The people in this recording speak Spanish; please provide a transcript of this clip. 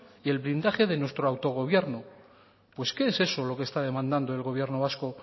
y el blindaje de nuestro autogobierno pues qué es eso lo que está demandando el gobierno vasco